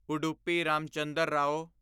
Udupi Ramachandra Rao